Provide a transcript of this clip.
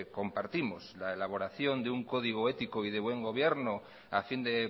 compartimos la elaboración de un código ético y de buen gobierno a fin de